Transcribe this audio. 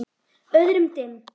Öðrum dimm.